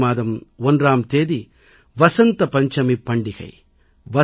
பிப்ரவரி 1ஆம் தேதி வசந்த பஞ்சமிப் பண்டிகை